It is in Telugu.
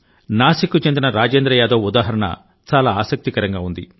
నాసిక్ కు చెందిన రాజేంద్ర యాదవ్ ఉదాహరణ చాలా ఆసక్తికరంగా ఉంది